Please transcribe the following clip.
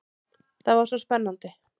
Það var svo spennandi.